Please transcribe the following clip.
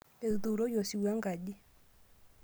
Etuuroyie osiwuo engaji.